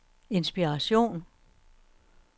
inspiration